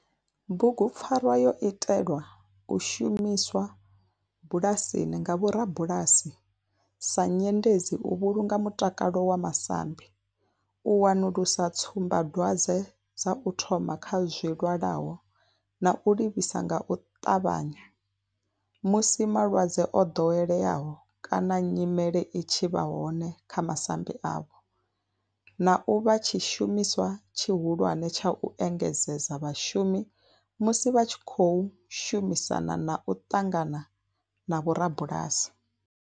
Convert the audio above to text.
Bugupfarwa yo itelwa u shumiswa bulasini nga vhorabulasi sa nyendedzi u vhulunga mutakalo wa masambi, u wanulusa tsumbadwadzwe dza u thoma kha zwilwalaho na u livhisa nga u ṱavhanya musi malwadze o ḓoweleaho kana nyimele i tshi vha hone kha masambi avho, na u vha tshishumiswa tshihulwane tsha u engedzedza vhashumi musi vha tshi khou shumisana na u ṱangana na vhorabulasi.